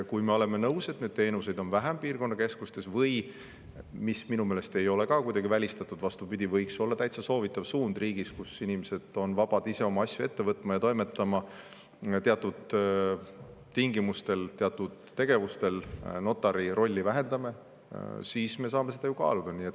Kui me oleme nõus, et neid teenuseid on piirkonnakeskustes vähem, või – see minu meelest ei ole ka kuidagi välistatud, vastupidi, see võiks olla täitsa soovitatav suund riigis, kus inimesed on vabad ise oma asju ajama ja toimetama – me teatud tegevuste puhul teatud tingimustel notari rolli vähendame, siis me saame seda ju kaaluda.